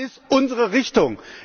Das ist unsere Richtung!